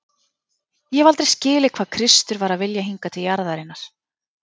Ég hef aldrei skilið hvað Kristur var að vilja hingað til jarðarinnar.